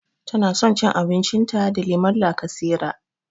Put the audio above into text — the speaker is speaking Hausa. Tana san cin abincin ta da lemon lakasera